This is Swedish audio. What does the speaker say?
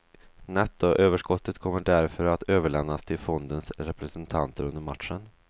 Nettoöverskottet kommer därför att överlämnas till fondens representanter under matchen.